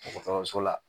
Dɔgɔtɔrɔso la